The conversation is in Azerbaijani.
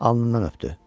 Alnından öpdü.